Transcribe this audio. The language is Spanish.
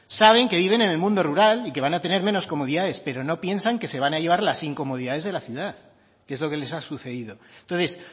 saben que viven en el mundo rural y que van a tener menos comodidades pero no piensan que se van a llevar las incomodidades de la ciudad que es lo que les ha sucedido entonces